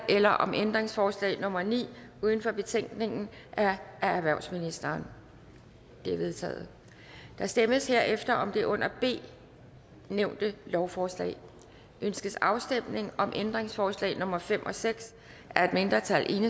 eller om ændringsforslag nummer ni uden for betænkningen af erhvervsministeren de er vedtaget der stemmes herefter om det under b nævnte lovforslag ønskes afstemning om ændringsforslag nummer fem og seks af et mindretal